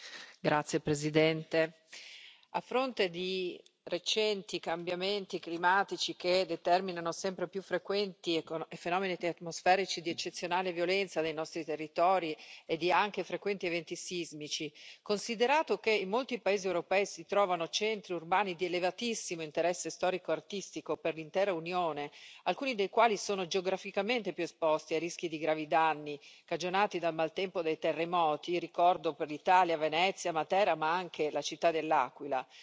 Signora Presidente, onorevoli colleghi, a fronte di recenti cambiamenti climatici che determinano sempre più frequenti fenomeni atmosferici di eccezionale violenza nei nostri territori e anche di frequenti eventi sismici, considerato che in molti paesi europei si trovano centri urbani di elevatissimo interesse storico e artistico per l'intera Unione, alcuni dei quali sono geograficamente più esposti ai rischi di gravi danni cagionati dal maltempo e dai terremoti ricordo per l'Italia Venezia, Matera ma anche la città de L'Aquila